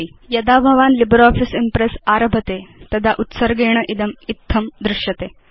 यदा भवान् LibreOffice Impress आरभते तदा उत्सर्गेण इदम् इत्थं दृश्यते